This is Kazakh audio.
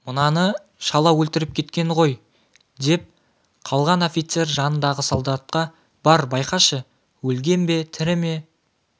мынаны шала өлтіріп кеткен той деп қалған офицер жанындағы солдатқа бар байқашы өлген бе тірі ме